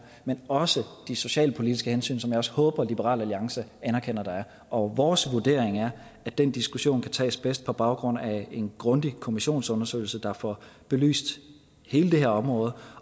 men også de socialpolitiske hensyn som jeg også håber liberal alliance anerkender der er og vores vurdering er at den diskussion bedst kan tages på baggrund af en grundig kommissionsundersøgelse der får belyst hele det her område